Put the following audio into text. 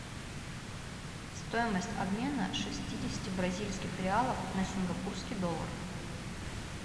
стоимость обмена шестидесяти бразильских реалов на сингапурский доллар